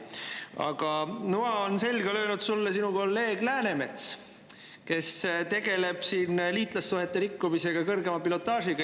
Aga noa on selga löönud sulle sinu kolleeg Läänemets, kes tegeleb siin liitlassuhete rikkumisega kõrgema pilotaažiga.